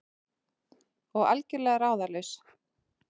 Og algjörlega ráðalaus.